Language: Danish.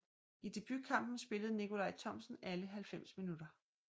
I debutkampen spillede Nicolaj Thomsen alle 90 minutter